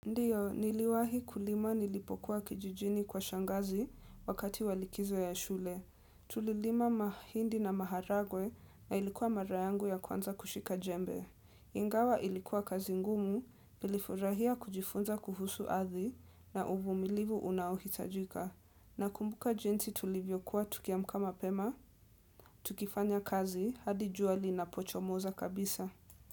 Ndiyo, niliwahi kulima nilipokuwa kijijini kwa shangazi wakati wa likizo ya shule. Tulilima mahindi na maharagwe na ilikuwa mara yangu ya kwanza kushika jembe. Ingawa ilikuwa kazi ngumu, nilifurahia kujifunza kuhusu ardhi na uvumilivu unaohitajika. Nakumbuka jinsi tulivyokuwa tukiamka mapema, tukifanya kazi, hadi jua linapochomoza kabisa.